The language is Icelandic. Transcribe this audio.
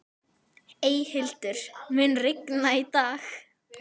Eyhildur, mun rigna í dag?